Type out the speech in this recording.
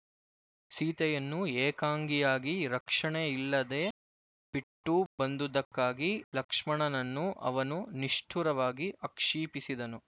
ಸೀತೆಯನ್ನು ಏಕಾಂಗಿಯಾಗಿ ರಕ್ಷಣೆಯಿಲ್ಲದೆ ಬಿಟ್ಟು ಬಂದುದಕ್ಕಾಗಿ ಲಕ್ಷ್ಮಣನನ್ನು ಅವನು ನಿಷ್ಠುರವಾಗಿ ಆಕ್ಷೀಪಿಸಿದನು